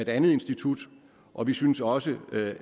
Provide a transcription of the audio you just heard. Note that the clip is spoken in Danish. andet institut og vi synes også